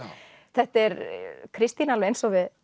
þetta er Kristín alveg eins og við